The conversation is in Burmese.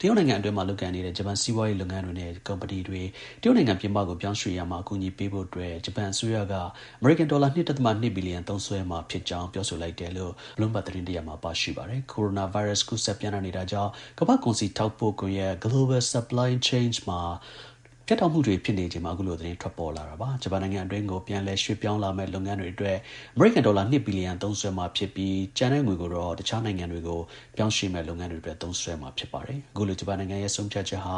တရုတ်နိုင်ငံအတွင်းမှာ လုပ်ကိုင်နေတဲ့ ဂျပန် စီးပွားရေး လုပ်ငန်းတွေနဲ့ ကုမ္ပဏီတွေ တရုတ်နိုင်ငံ ပြင်ပကို ပြောင်းရွှေ့ရာမှာ အကူအညီ ပေးဖို့အတွက် ဂျပန်အစိုးရက အမေရိကန် ဒေါ်လာ ၂ ဒဿမ ၂ ဘီလီယံ သုံးစွဲမှာ ဖြစ်ကြောင်း ပြောဆိုလိုက်တယ်လို့ Bloomberg သတင်းတစ်ရပ်မှာ ပါရှိပါတယ်။ ကိုရိုနာ ဗိုင်းရပ်စ် ကူးစက်ပျံ့နှံ့နေတာကြောင့် ကမ္ဘာ့ကုန်စည် ထောက်ပို့ ကွန်ရက် Global Supply Chain မှာ ပြတ်တောက်မှု တွေ ဖြစ်နေချိန်မှာ အခုလို သတင်းထွက်ပေါ်လာတာဖြစ်ပါတယ်။ ဂျပန်နိုင်ငံအတွင်းကို ပြန်လည် ရွှေ့ပြောင်းလာမယ့် လုပ်ငန်းတွေ အတွက် အမေရိကန် ဒေါ်လာ ၂ ဘီလီယံ သုံးစွဲမှာ ဖြစ်ပြီး ကျန်ငွေကို တခြားနိုင်ငံတွေကို ပြောင်းရွှေ့မယ့် လုပ်ငန်းတွေအတွက် သုံးစွဲ မှာ ဖြစ်ပါတယ်။ အခုလို ဂျပန်နိုင်ငံရဲ့ ဆုံးဖြတ်ချက်ဟာ